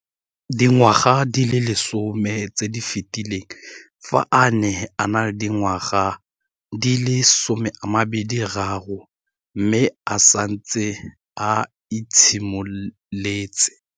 Dingwaga di le 10 tse di fetileng, fa a ne a le dingwaga di le 23 mme a setse a itshimoletse